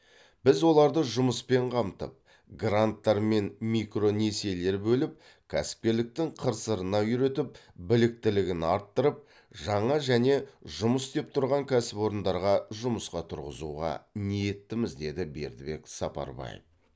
біз оларды жұмыспен қамтып гранттар мен микронесиелер бөліп кәсіпкерліктің қыр сырына үйретіп біліктілігін арттырып жаңа және жұмыс істеп тұрған кәсіпорындарға жұмысқа тұрғызуға ниеттіміз деді бердібек сапарбаев